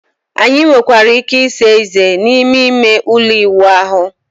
anyị nwekwara ike ịsa ezé n'ime ime ụlọ ịwụ ahụ